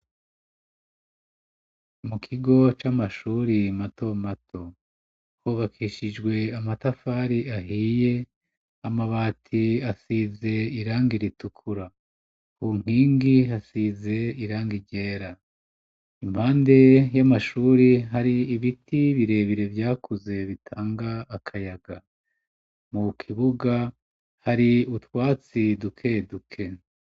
Mu kigo c'amashuri mato mato hubakishijwe amatafari ahiye amabati asize irangi ritukura kunkingi hasize irangi ryera impande y'amashuri hari ibiti birebire vyakuze bitanga akayaga mu kibuga hari utwatsi duke duke.